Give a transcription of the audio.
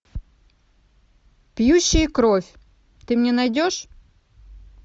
пьющие кровь ты мне найдешь